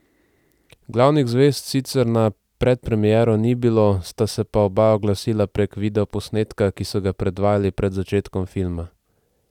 Glavnih zvezd sicer na predpremiero ni bilo, sta se pa oba oglasila prek videoposnetka, ki so ga predvajali pred začetkom filma.